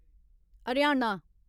Haryana